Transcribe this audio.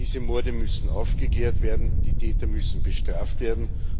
Diese Morde müssen aufgeklärt werden, die Täter müssen bestraft werden.